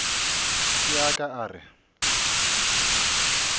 se a ka a re